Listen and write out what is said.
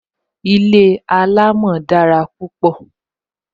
Ilé alamo dára púpọ